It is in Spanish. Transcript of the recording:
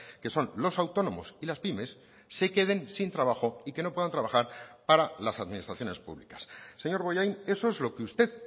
que son los autónomos y las pymes se queden sin trabajo y que no puedan trabajar para las administraciones públicas señor bollain eso es lo que usted